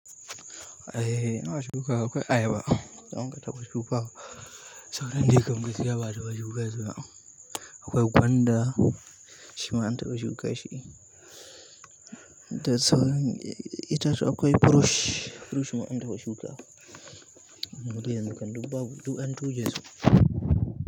Eh, ana shukawa akwai ayaba, da muka taɓa shukawa, sauran dai kam gaskiya ba'a taɓa shuka su ba, akwai gwanda shima an taɓa shuka shi da sauran itatuwa akwai fruit, fruit ma an taɓa shukawa. Mudai yanzu kan duk babu, duk an tuje su.